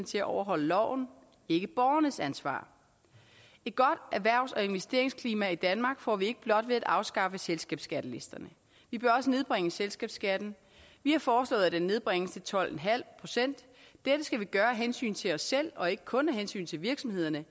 til at overholde loven ikke borgernes ansvar et godt erhvervs og investeringsklima i danmark får vi ikke blot ved at afskaffe selskabsskattelisterne vi bør også nedbringe selskabsskatten vi har foreslået at den nedbringes til tolv en halv procent dette skal vi gøre af hensyn til os selv og ikke kun af hensyn til virksomhederne